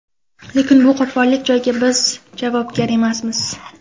Lekin bu qopqoqlik joyga biz javobgar emasmiz.